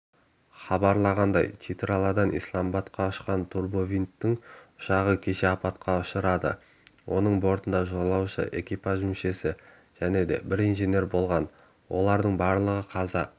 хабарлағандай читралдан исламабадқа ұшқан турбовинттік ұшағы кеше апатқа ұшырады оның бортында жолаушы экипаж мүшесі және бір инженер болатын олардың барлығы қаза